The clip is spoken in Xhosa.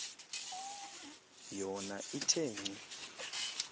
yona ithe ngcu